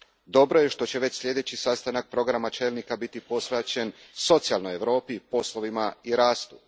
Dobro je što će već sljedeći sastanak programa čelnika biti posvećen socijalnoj Europi, poslovima i rastu.